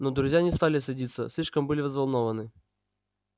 но друзья не стали садиться слишком были взволнованны